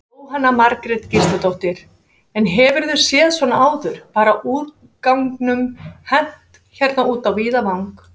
Jóhanna Margrét Gísladóttir: En hefurðu séð svona áður, bara úrganginum hent hérna út á víðavang?